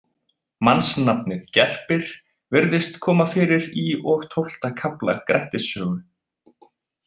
Mannsnafnið Gerpir virðist koma fyrir í og tólfta kafla Grettis sögu.